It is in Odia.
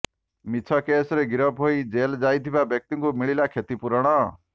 ମିଛ କେସରେ ଗିରଫ୍ ହୋଇ ଜେଲ ଯାଇଥିବା ବ୍ୟକ୍ତିଙ୍କୁ ମିଳିଲା କ୍ଷତିପୂରଣ